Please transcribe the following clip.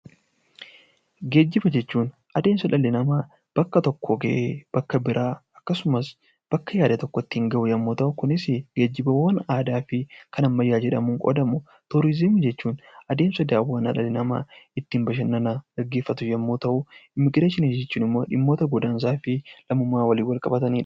Geejjiba jechuun adeemsa dhalli namaa bakka tokkoo ka'ee bakka biraa akkasumas bakka yaade tokko ittiin gahu yommuu ta'u, Geejjibaawwan aadaa fi kan ammayyaa jedhamuun qoodamu. Turiizimii jechuun adeemsa daawwannaa dhalli namaa ittiin bashannana geggeeffatu yommuu ta'u, Immigireeshinii jechuun immoo dhimmoota godaansaa fi lammummaa waliin wal qabatani dha.